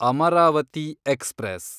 Amaravati express